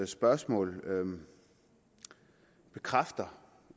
spørgsmål bekræfter